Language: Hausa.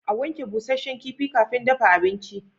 A wanke busasshen kifi kafin dafa abinci